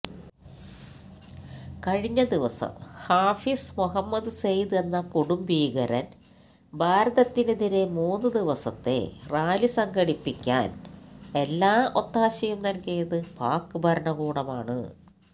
കഴിഞ്ഞ ദിവസം ഹാഫീസ് മുഹമ്മദ് സെയ്ദ് എന്ന കൊടുംഭീകരന് ഭാരതത്തിനെതിരെ മൂന്നുദിവസത്തെ റാലിസംഘടിപ്പിക്കാന് എല്ലാ ഒത്താശയും നല്കിയത് പാക്ഭരണകൂടമാണ്